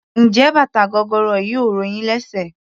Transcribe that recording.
Njé bàtà gogoro yìí ò ro yín lésè?